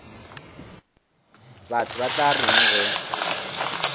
batho ba tla reng ge